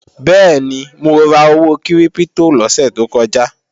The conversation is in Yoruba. Bẹ́ẹ̀ni, mo ra owó kírípítò lọ́sè tó kọjá